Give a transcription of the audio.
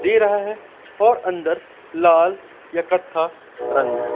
दे रहा है और अंदर लाल या कत्था रंग है।